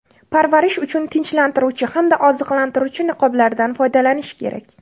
Parvarish uchun tinchlantiruvchi hamda oziqlantiruvchi niqoblardan foydalanish kerak.